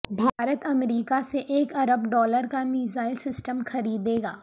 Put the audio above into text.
بھارت امریکا سے ایک ارب ڈالرکا میزائل سسٹم خریدے گا